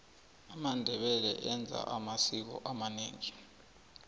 amandebele enza amasiko amanengi